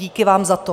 Díky vám za to.